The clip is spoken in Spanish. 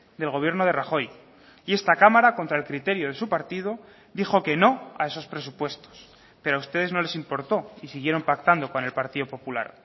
del gobierno de rajoy y esta cámara contra el criterio de su partido dijo que no a esos presupuestos pero a ustedes no les importó y siguieron pactando con el partido popular